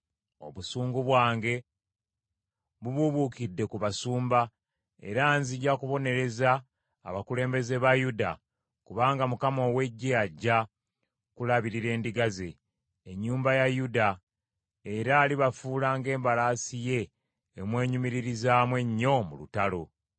“Obusungu bwange bubuubuukidde ku basumba era nzija kubonereza abakulembeze ba Yuda, kubanga Mukama ow’Eggye ajja kulabirira endiga ze, ennyumba ya Yuda, era alibafuula ng’embalaasi ye emwenyumiririzaamu ennyo mu lutalo.